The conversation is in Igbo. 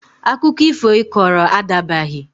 Akụkọ ifo Ị kọrọ a dabaghị!